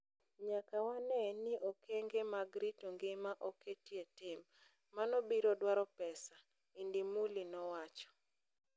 Nyaka wanee ni okenge mag rito ngima oketie tim. Mano biro dwaro pesa." Indimuli nowacho.